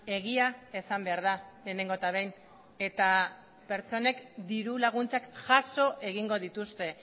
egia esan behar da lehenengo eta behin eta pertsonek diru laguntzak jaso egingo dituzte